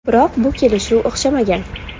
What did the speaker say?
Biroq bu kelishuv o‘xshamagan.